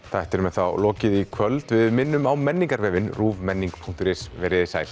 þættinum er þá lokið í kvöld við minnum á menningarvefinn ruvmenning punktur is veriði sæl